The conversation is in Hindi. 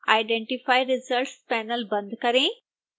identify results पैनल बंद करें